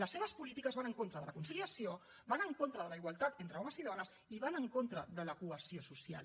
les seves polítiques van en contra de la conciliació van en contra de la igualtat entre homes i dones i van en contra de la cohesió social